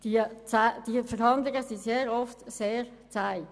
Die Verhandlungen sind oftmals sehr zäh.